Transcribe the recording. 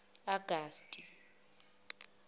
augusti